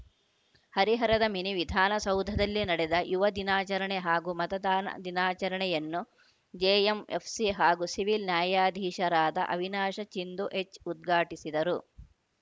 ಹರಿಹರದ ಮಿನಿ ವಿಧಾನಸೌಧದಲ್ಲಿ ನಡೆದ ಯುವ ದಿನಾಚರಣೆ ಹಾಗೂ ಮತದಾನ ದಿನಾಚರಣೆಯನ್ನು ಜೆಎಂಎಫ್‌ಸಿ ಹಾಗೂ ಸಿವಿಲ್‌ ನ್ಯಾಯಾಧೀಶರಾದ ಅವಿನಾಶ ಚಿಂದು ಎಚ್‌ ಉದ್ಘಾಟಿಸಿದರು